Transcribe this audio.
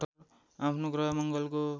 आफ्नो ग्रह मङ्गलको